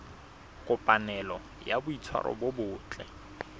kopanelo ya boitshwaro bo botle